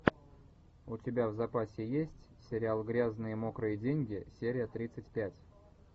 у тебя в запасе есть сериал грязные мокрые деньги серия тридцать пять